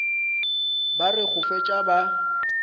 ba re go fetša ba